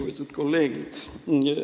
Lugupeetud kolleegid!